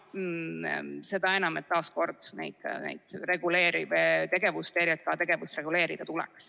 Seda enam, et taas kord: ERJK tegevust tuleks reguleerida.